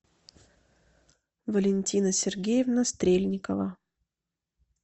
валентина сергеевна стрельникова